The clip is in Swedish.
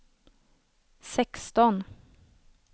sexton